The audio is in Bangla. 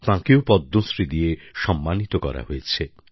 তাঁকেও পদ্মশ্রী দিয়ে সম্মানিত করা হয়েছে